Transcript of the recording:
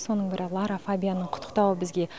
соның бірі лара фабианның құттықтауы бізге